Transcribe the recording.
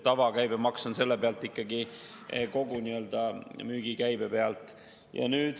Tavakäibemaks on ikkagi kogu müügikäibe pealt.